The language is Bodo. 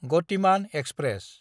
गतिमान एक्सप्रेस